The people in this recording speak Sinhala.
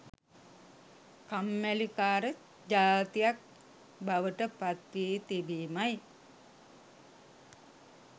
කම්මැලි කාර ජාතියක් බවට පත් වී තිබීමයි.